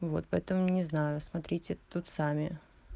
вот поэтому не знаю смотрите тут сами